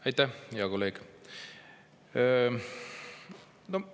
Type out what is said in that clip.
Aitäh, hea kolleeg!